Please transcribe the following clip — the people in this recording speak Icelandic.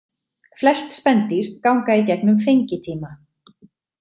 Flest spendýr ganga í gegnum fengitíma.